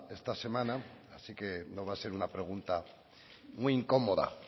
esta semana así que no va a ser una pregunta muy incómoda